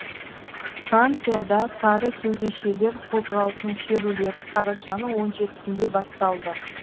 францияда сары кеудешелер қозғалысының шерулері қарашаның он жетісінде басталды